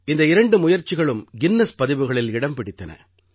இந்த இரண்டு முயற்சிகளும் கின்னஸ் பதிவுகளில் இடம் பிடித்தன